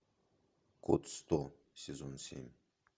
код сто сезон семь